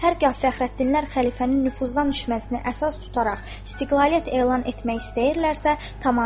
Hər gah Fəxrəddinlər xəlifənin nüfuzdan düşməsini əsas tutaraq istiqlaliyyət elan etmək istəyirlərsə, tamam.